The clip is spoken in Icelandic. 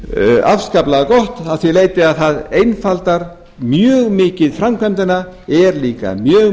forseti afskaplega gott að því leyti að það einfaldar mjög mikið framkvæmdina er líka mjög